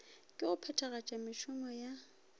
ke go phethagatša mešomo ya